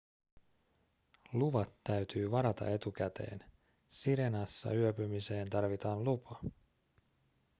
luvat täytyy varata etukäteen sirenassa yöpymiseen tarvitaan lupa